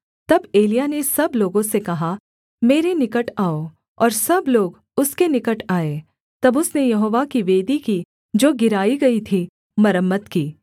तब एलिय्याह ने सब लोगों से कहा मेरे निकट आओ और सब लोग उसके निकट आए तब उसने यहोवा की वेदी की जो गिराई गई थी मरम्मत की